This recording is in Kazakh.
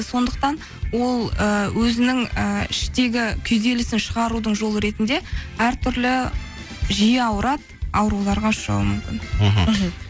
сондықтан ол ыыы өзінің ыыы іштегі күйзелісін шығарудың жолы ретінде әртүрлі жиі ауырады ауруларға ұшырауы мүмкін мхм мхм